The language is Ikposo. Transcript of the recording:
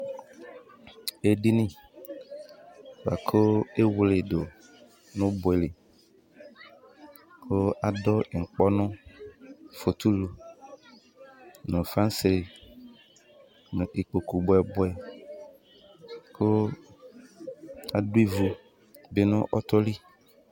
Edini buakʋ ewleedu nʋ ɔbɔɛ likʋ adʋ ŋkpɔnʋ fotulʋ , nʋ flanse, nu ikpoku bɔɛbɔɛkʋ adʋ ivu bi nʋ ɔtɔ li